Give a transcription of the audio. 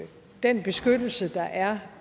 den beskyttelse der er